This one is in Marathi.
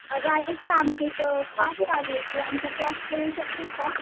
अगं ऐक ना आमच्याइथे क्लास चालू आहे आमच्या क्लासला येऊ शकतेस का